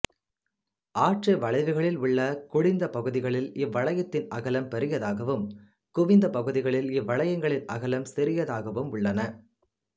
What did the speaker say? ஆற்று வளைவுகளில் உள்ள குழிந்த பகுதிகளில் இவ்வளையத்தின் அகலம் பெரியதாகவும் குவிந்த பகுதிகளில் இவ்வளையங்களின் அகலம் சிறியதாகவும் உள்ளன